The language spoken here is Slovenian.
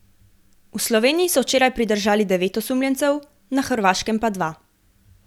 V Sloveniji so včeraj pridržali devet osumljencev, na Hrvaškem pa dva.